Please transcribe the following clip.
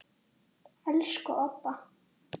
Elsku Obba.